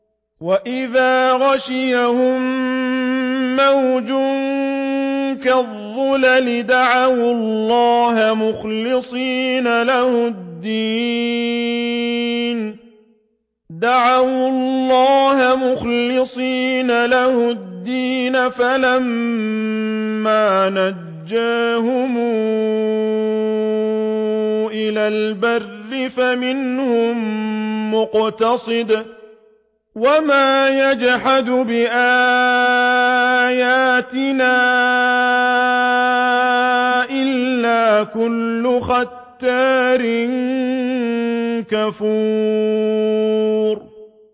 وَإِذَا غَشِيَهُم مَّوْجٌ كَالظُّلَلِ دَعَوُا اللَّهَ مُخْلِصِينَ لَهُ الدِّينَ فَلَمَّا نَجَّاهُمْ إِلَى الْبَرِّ فَمِنْهُم مُّقْتَصِدٌ ۚ وَمَا يَجْحَدُ بِآيَاتِنَا إِلَّا كُلُّ خَتَّارٍ كَفُورٍ